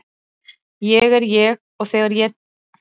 Ég er ég og þegar ég vil tala mun ég gera það.